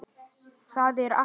Það er ekki.